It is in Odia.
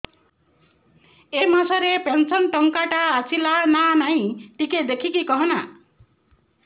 ଏ ମାସ ରେ ପେନସନ ଟଙ୍କା ଟା ଆସଲା ନା ନାଇଁ ଟିକେ ଦେଖିକି କହନା